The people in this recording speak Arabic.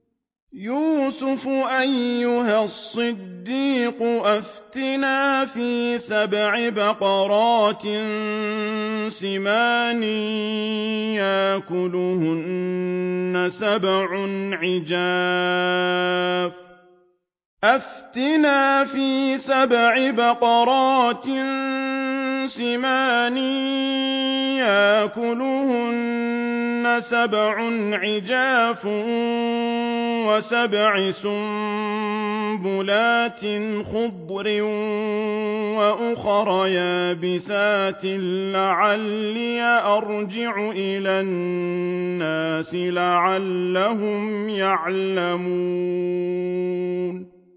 يُوسُفُ أَيُّهَا الصِّدِّيقُ أَفْتِنَا فِي سَبْعِ بَقَرَاتٍ سِمَانٍ يَأْكُلُهُنَّ سَبْعٌ عِجَافٌ وَسَبْعِ سُنبُلَاتٍ خُضْرٍ وَأُخَرَ يَابِسَاتٍ لَّعَلِّي أَرْجِعُ إِلَى النَّاسِ لَعَلَّهُمْ يَعْلَمُونَ